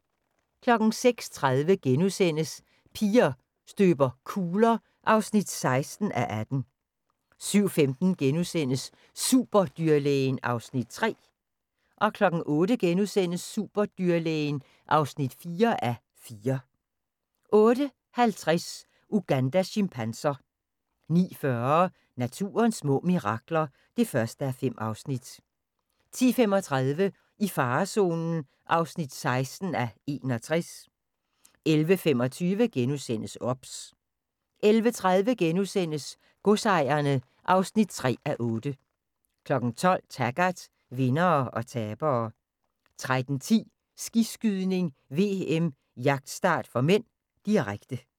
06:30: Piger støber kugler (16:18)* 07:15: Superdyrlægen (3:4)* 08:00: Superdyrlægen (4:4) 08:50: Ugandas chimpanser 09:40: Naturens små mirakler (1:5) 10:35: I farezonen (16:61) 11:25: OBS * 11:30: Godsejerne (3:8)* 12:00: Taggart: Vindere og tabere 13:10: Skiskydning: VM - jagtstart (m), direkte